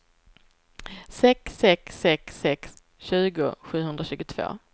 sex sex sex sex tjugo sjuhundratjugotvå